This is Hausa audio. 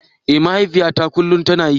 Eh mahaifiyata kullum tana yi.